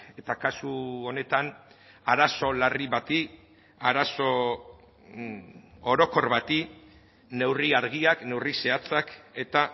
eta kasu honetan arazo larri bati arazo orokor bati neurri argiak neurri zehatzak eta